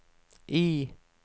Y